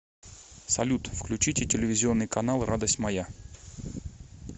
салют включите телевизионный канал радость моя